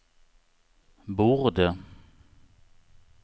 borde